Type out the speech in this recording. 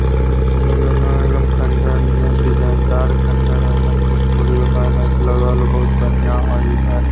अरे इ त लग रहल हाउ एक दम खड़हर नियर डिज़ाइन दार खंडहर ह एकदम टूट-फुट गेलो लागल हओ बहुत बढ़िया हओ इधर